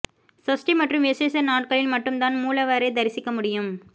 சஷ்டி மற்றும் விசேஷ நாட்களில் மட்டும்தான் மூலவரைத் தரிசிக்க முடியும்